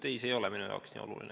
Ei, see ei ole minu jaoks nii oluline.